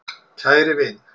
Kæri vin!